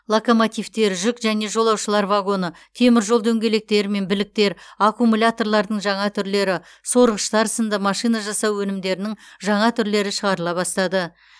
локомотивтер жүк және жолаушылар вагоны темір жол дөңгелектері мен біліктер аккумуляторлардың жаңа түрлері сорғыштар сынды машина жасау өнімдерінің жаңа түрлері шығарыла бастады